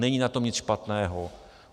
Není na tom nic špatného.